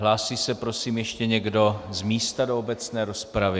Hlásí se, prosím, ještě někdo z místa do obecné rozpravy.